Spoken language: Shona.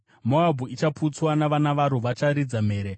Moabhu ichaputswa; vana vadiki varo vacharidza mhere.